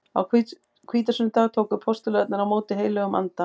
Á hvítasunnudag tóku postularnir á móti heilögum anda.